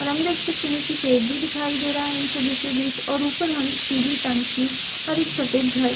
और हम देख सकते हैं की पेड़ भी दिखाई दे रहा है इन सभी के बिच और ऊपर हम पिली टंकी और एक सफ़ेद घर--